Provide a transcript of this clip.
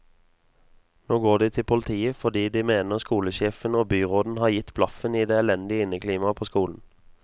Nå går de til politiet fordi de mener skolesjefen og byråden har gitt blaffen i det elendige inneklimaet på skolen.